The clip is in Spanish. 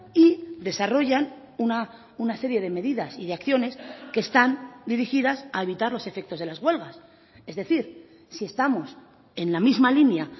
y desarrollan una serie de medidas y de acciones que están dirigidas a evitar los efectos de las huelgas es decir si estamos en la misma línea